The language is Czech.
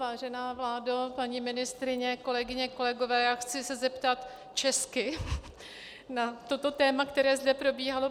Vážená vládo, paní ministryně, kolegyně kolegové, já se chci zeptat česky na toto téma, které zde probíhalo.